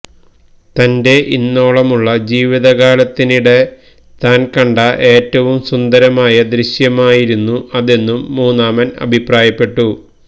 തന്റെ ഇന്നോളമുള്ള ജീവിതകാലത്തിനിടെ താൻ കണ്ട ഏറ്റവും സുന്ദരമായ ദൃശ്യമായിരുന്നു അതെന്നും മൂന്നാമൻ അഭിപ്രായപ്പെട്ടു